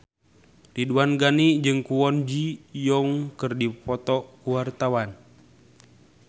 Ridwan Ghani jeung Kwon Ji Yong keur dipoto ku wartawan